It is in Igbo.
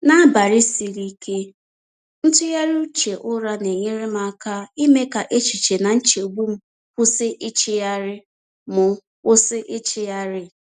N’abalị siri ike, ntụgharị uche ụra na-enyere m aka ime ka echiche na nchegbu m kwụsị ịchịgharị. m kwụsị ịchịgharị.